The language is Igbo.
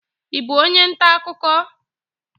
I bụ onye ntaakụkọ?